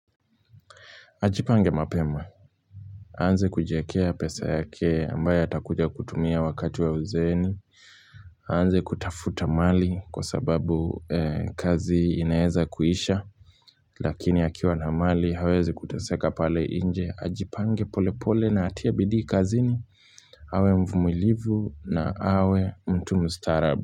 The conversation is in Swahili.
Ajipange mapema, aanze kujiekea pesa yake ambayo atakuja kutumia wakati wa uzeeni, aanze kutafuta mali kwa sababu kazi inaeza kuisha, lakini akiwa na mali hawezi kuteseka pale nje, ajipange pole pole na atie bidii kazini, awe mvumilivu na awe mtu mustarabu.